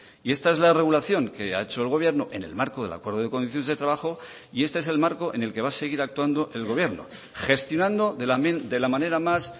y esta es la regulación que ha hecho el gobierno en el marco del acuerdo de condiciones de trabajo y este es el marco en el que va a seguir actuando el gobierno gestionando de la manera más